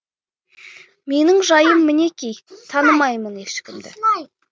менің жайым мінеки танымаймын ешкімді